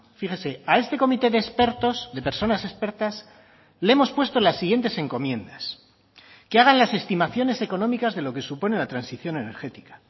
fíjese a este comité de expertos de personas expertas le hemos puesto las siguientes encomiendas que hagan las estimaciones económicas de lo que supone la transición energética